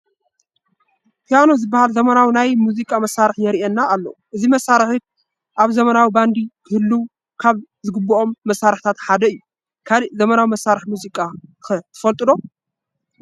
ፒያኖ ዝበሃል ዘመናዊ ናይ ሙዚቃ መሳርሒ ይርአየና ኣሎ፡፡ እዚ መሳርሒ ኣብ ዘመናዊ ባንዲ ክህልዉ ካብ ዝግብኦም መሳርሕታት ሓደ እዩ፡፡ ካልእ ዘመናዊ መሳርሒ ሙዚቃ ኸ ትፈልጡ ዶ?